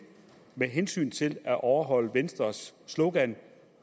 med hensyn til at overholde venstres slogan